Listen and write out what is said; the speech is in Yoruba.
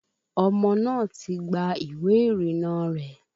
Ọmọ náà ti gba ìwé ìrìnnà rẹ̀